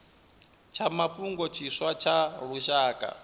tsha mafhungo tshiswa tsha lushaka